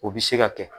O bɛ se ka kɛ